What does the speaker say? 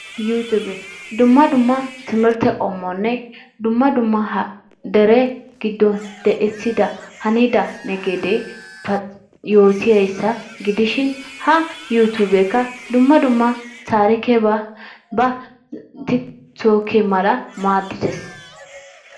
yuutube, dumma dumma timirtte qommonne dumma dumma dere giddon de'ssida hanida yootiyaasa gidishin ha yuutubeekka dumma dumma tarikebaa dumma dumma tiktokee maaddidees.